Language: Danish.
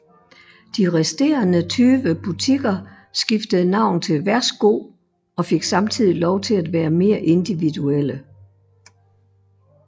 De resterende 20 butikker skiftede navn til Værsgo og fik samtidig lov til at være mere individuelle